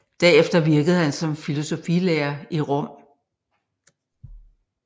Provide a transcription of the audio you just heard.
Derefter virkede han som filosofilærer i Rom